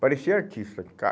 Parecia artista.